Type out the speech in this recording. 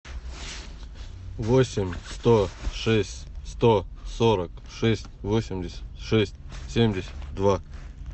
восемь сто шесть сто сорок шесть восемьдесят шесть семьдесят два